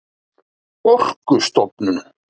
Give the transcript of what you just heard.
orkustofnun